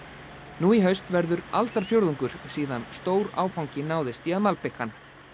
nú í haust verður aldarfjórðungur síðan stór áfangi náðist í að malbika hann